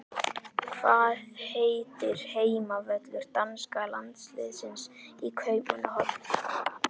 Hvað heitir heimavöllur danska landsliðsins í Kaupmannahöfn?